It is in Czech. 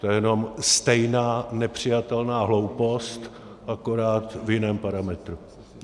To je jenom stejná nepřijatelná hloupost, akorát v jiném parametru.